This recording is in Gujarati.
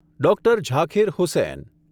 ડોક્ટર ઝાકિર હુસૈન